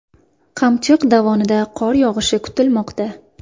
Qamchiq dovonida qor yog‘ishi kutilmoqda.